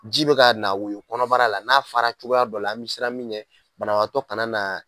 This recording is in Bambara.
Ji bɛ ka na woyo kɔnɔbara la n'a fara cogoya dɔ la an bɛ siran min ɲɛ banabaatɔ kana na.